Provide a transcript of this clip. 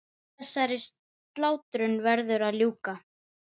Þá var nú gaman.